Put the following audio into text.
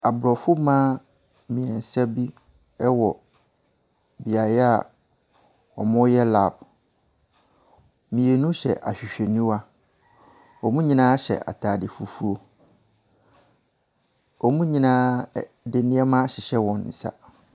Aborɔfo mmaa mmiɛnsa bi ɛwɔ beaeɛ a wɔreyɛ lab. Mmienu hyɛ ahwehwɛniwa na wɔn nyinaa hyɛ ataade fufu. Wɔn nyinaa ɛ de nneɛma ahyehyɛ wɔn nsa.